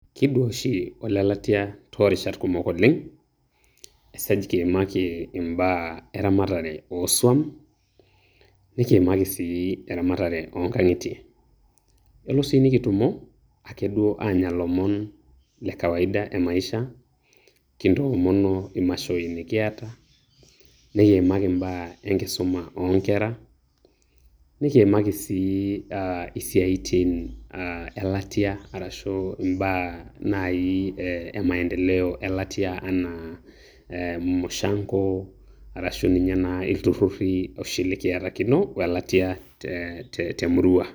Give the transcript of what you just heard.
Kidua oshi olelatia toorishat kumok oleng', esaj kiimaki imbaa eramatare o swam, nikiimaki si eramatare o nkang'itie. Elo si nikitumo ake duo aanya lomon le kawaida e maisha kintoomono imashoi nikiata, nikiimaki imbaa enkisuma o nkera nikiimaki si ah isiaitin ah elatia arashu imbaa nai emaendeleo e latia enaa mushanko arashu ninye naa ilturrurri oshi likiatakino we latia temurua.